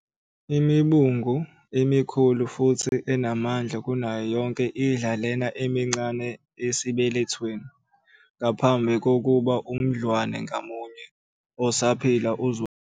Imibungu emikhulu futhi enamandla kunayo yonke idla lena emincane esibelethweni ngaphambi kokuba umdlwane ngamunye osaphila uzalwe.